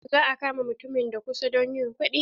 Za a kama mutumin da kusa don yin kuɗi.